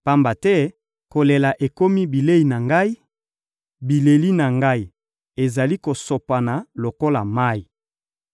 Pamba te kolela ekomi bilei na ngai, bileli na ngai ezali kosopana lokola mayi.